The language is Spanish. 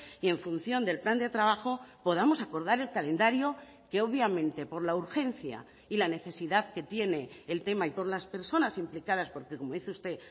y en función del plan de trabajo podamos acordar el calendario que obviamente por la urgencia y la necesidad que tiene el tema y por las personas implicadas porque como dice usted